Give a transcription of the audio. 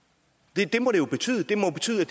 det må det jo betyde det må betyde